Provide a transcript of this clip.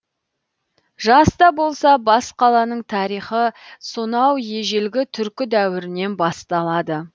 жас та болса бас қаланың тарихы сонау ежелгі түркі дәуірінен басталады